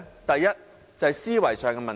第一，思維上的問題。